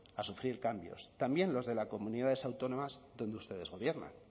a sufrir cambios también los de las comunidades autónomas donde ustedes gobiernan